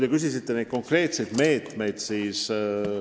Te küsisite konkreetsete meetmete kohta.